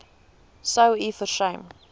sou u versuim